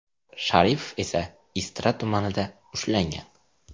Sharipov esa Istra tumanida ushlangan.